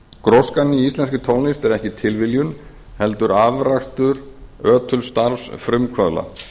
gróskan í íslenskri tónlist er ekki tilviljun heldur afrakstur ötuls starfs frumkvöðla